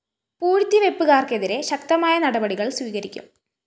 പൂഴ്ത്തിവെപ്പ്കാര്‍ക്കെതിരെ ശക്തമായ നടപടികള്‍ സ്വീകരിക്കും